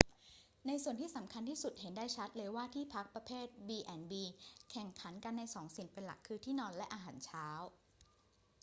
ในส่วนที่สำคัญที่สุด เห็นได้ชัดว่าที่พักประเภท b&b แข่งขันกันในสองสิ่งเป็นหลัก คือ ที่นอนและอาหารเช้า